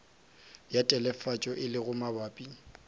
ya telefatšo e lego mabapi